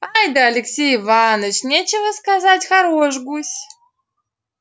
ай-да алексей иваныч нечего сказать хорош гусь